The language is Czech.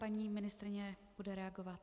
Paní ministryně bude reagovat.